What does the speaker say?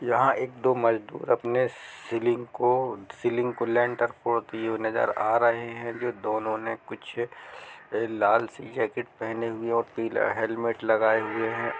यहां एक-दो मजदूर अपने सीलिंग को सीलिंग को नजर आ रहे हैं। जो दोनों ने कुछ लाल जोसे जैकेट पहने हुए और पीला हेलमेट लगाए हुए हैं।